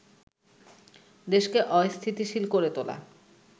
দেশকে অস্থিতিশীল করে তোলা